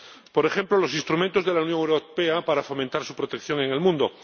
por ejemplo, los instrumentos de la Unión Europea para fomentar su protección en el mundo.